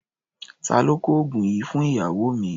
Ta ló kọ oògùn yìí fún ìyàwó mi?